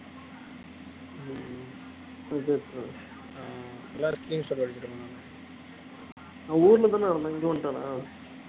நான் ஊர்ல தானே இருந்தேன் இங்க வந்துட்டானா அவன்